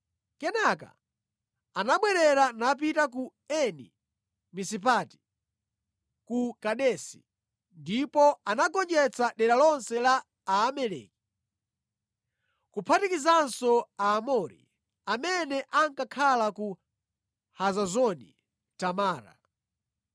Kenaka anabwerera napita ku Eni-Misipati (ku Kadesi), ndipo anagonjetsa dera lonse la Aamaleki, kuphatikizanso Aamori amene ankakhala ku Hazazoni Tamara.